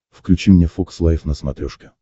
включи мне фокс лайф на смотрешке